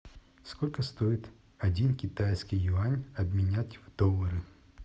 сколько стоит один китайский юань обменять в доллары